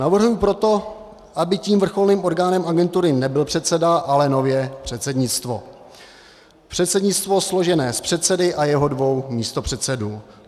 Navrhuji proto, aby tím vrcholným orgánem agentury nebyl předseda, ale nově předsednictvo - předsednictvo složené z předsedy a jeho dvou místopředsedů.